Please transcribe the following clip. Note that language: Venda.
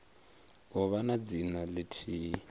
u vha na dzina lithihi